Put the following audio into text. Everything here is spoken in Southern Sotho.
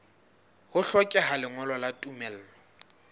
ho hlokeha lengolo la tumello